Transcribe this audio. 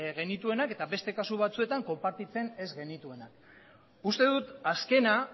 genituenak eta beste kasu batzuetan konpartitzen ez genituenak uste dut azkena